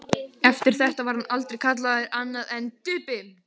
Eftir þetta var hann aldrei kallaður annað en Tappi.